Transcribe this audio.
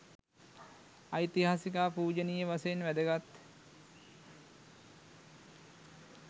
ඓතිහාසික හා පූජනීය වශයෙන් වැදගත්